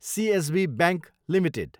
CSB bank Ltd